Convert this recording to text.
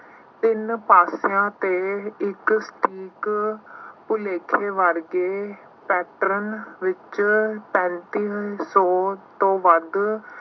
ਤਿੰਨ ਪਾਸਿਆਂ ਤੇ ਇੱਕ ਇੱਕ ਭੁਲੇਖੇ ਵਰਗੇ pattern ਵਿੱਚ ਪੈਂਤੀ ਸੌ ਤੋਂ ਵੱਧ